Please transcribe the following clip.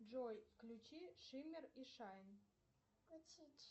джой включи шиммер и шайн